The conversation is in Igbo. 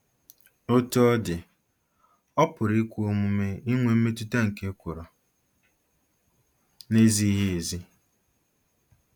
Otú ọ dị, ọ̀ pụrụ ikwe omume inwe mmetụta nke ekworo na-ezighị ezi?